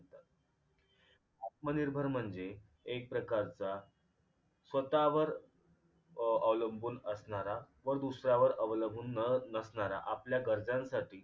आत्मनिर्भर म्हणजे एक प्रकारचा स्वतःवर अं अवलंबून असणारा व दुसऱ्यावर अवलंबून न नसणारा आपल्या गरजांसाठी